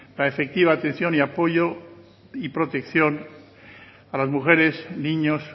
la efectiva atención apoyo y protección a las mujeres y niños